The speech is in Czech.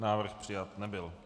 Návrh přijat nebyl.